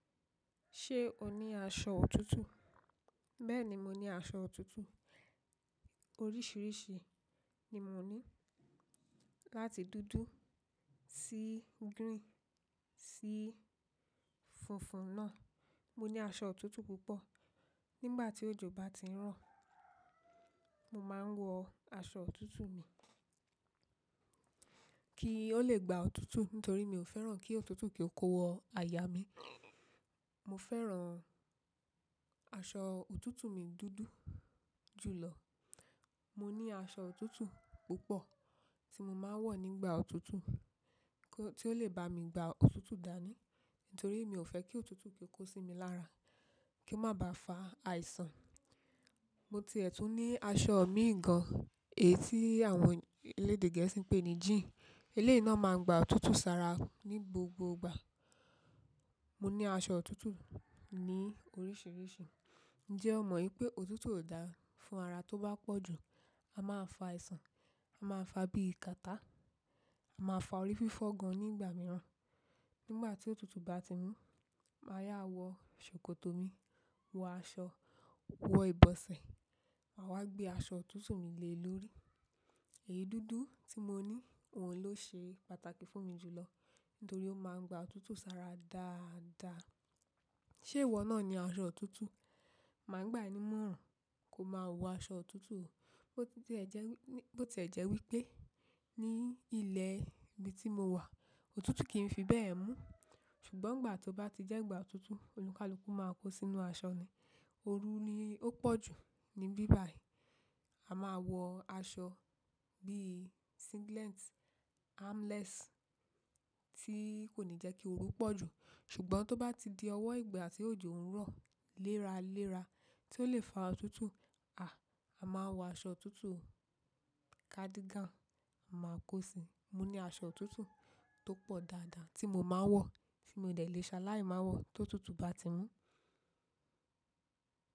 Ṣé o ní aṣọ òtútù? Bẹ́ẹ̀ni mo ní aṣọ òtútù. Oríṣìíríṣìí ni mo ní. Láti dúdú, sí green, sí funfun náà. Mo ní aṣọ òtútù púpọ̀. Nígbà tí òjò bá ti ń rọ̀, mo máa ń wọ aṣọ òtútù mi kí ó le gba òtútù. Nítorí mi ò fẹ́ràn kí òtútù kí ó kó wọ aya mi. Mo fẹ́ràn aṣọ òtútù mi dúdú jù lọ. Mo ní aṣọ òtútù púpọ̀ tí mo máa ń wọ̀ nígbà òtútù, kí-- tí ó lè ba mi gba òtútù dání. Nítorí mi ò fẹ́ kí òtútù kí ó kó sí mi lára, kí má ba fa àìsàn. Mo ti ẹ̀tún ní aṣọ mi gàn, èyí tí àwọn elédè gẹ̀ẹ́sì ń pè ní jean. Eléyìí náà máa ń gba òtútù sára ní gbogbo ìgbà. Mo ní aṣọ òtútù ní oríṣìíríṣìí. Ǹjẹ́ o mọ̀ wípé òtútù ò dáa fún ara tó bá pọ̀jù? A máa fa àìsàn, a máa fa bí i kàtá, a máa fa orí fífọ́ gan nígbà mìíràn. Nígbà tí òtútù bá ti mú, màá yá wọ ṣòkòtò mi, wọ aṣọ, wọ ìbọsẹ̀, àwa gbé aṣọ òtútù mi lé lórí. Èyí dúdú tí mo ní, òun ló ṣe pàtàkì fún mi jù lọ. Nítorí ó máa ń gba òtútù sára dáadaa. Ṣe ìwọ náà ni aṣọ òtútù? Máa gbà ẹ ní mọ̀ràn, kó má wọ aṣọ òtútù. Bó ti ẹ̀ jẹ́ wí pé ní ilẹ̀ ibi tí mo wà, òtútù kì n fi bẹ́ẹ̀ mú. Ṣùgbọ́n ìgbà tó bá ti jẹ́ ìgbà òtútù, olùkálùkù máa kó sínú aṣọ ni. Oru ni ó pọ̀jù ní bíbàí. A máa wọ aṣọ bíi singlet, armless tí kò ní jẹ́ kí oru pọ̀jù. Ṣùgbọ́n tó bá ti di ọwọ́ ìgbà tí òjò ń rọ̀ léraléra tí ó lè fa òtútù. À, a máa wọ aṣọ òtútù, cardigan a máa kó si. Mo ní aṣọ òtútù tó pọ̀ dáadáa tí mo máa ń wọ, tí mo dẹ̀ lè ṣaláì máa wọ tó òtútù bá ti mú.